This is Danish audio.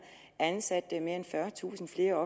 ansat mere end fyrretusind flere